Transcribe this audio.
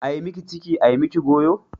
Ai miki ciki ai miki goyo.